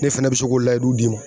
Ne fɛnɛ be se k'o layidu d'i ma